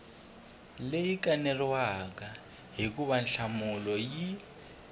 leyi kaneriwaka hikuva nhlamulo yi